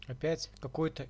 опять какой-то